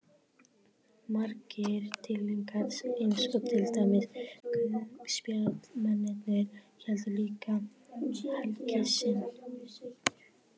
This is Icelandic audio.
Margir dýrlingar eins og til dæmis guðspjallamennirnir héldu líka helgi sinni.